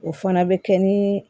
O fana bɛ kɛ ni